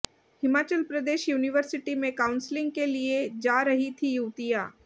Himachal Pradesh university में counselling के लिए जा रही थीं युवतियां